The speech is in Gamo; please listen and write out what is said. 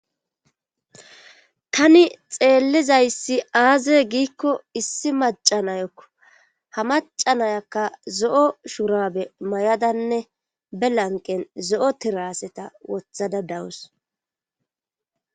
tani xeellizayssi aaze giikko issi macanayakko ha macanayakka zo7o shurabe may7adanne be lanqen zo7o tiraseta wothada dawus